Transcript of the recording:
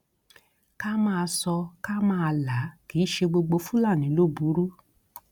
ká máa sọ ọ ká máa là á kì í ṣe gbogbo fúlàní ló burú